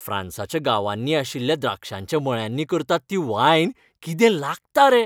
फ्रांसाच्या गांवांनी आशिल्ल्या द्राक्षांच्या मळ्यांनी करतात ती वायन कितें लागता रे!